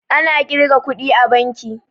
Ana ƙirga kuɗi a banki